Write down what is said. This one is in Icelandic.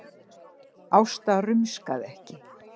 Ásta rumskaði ekki.